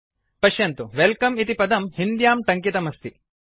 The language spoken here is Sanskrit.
पश्यन्तु वेल्कम इति पदं हिन्द्यां टङ्कितमस्ति